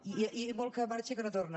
i molt que marxa i que no torna